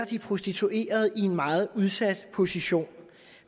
de prostituerede sættes i en meget udsat position